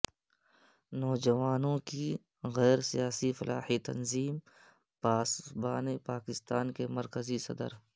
نوجوانوں کی غیر سیاسی فلاحی تنظیم پاسبان پاکستان کے مرکزی صدر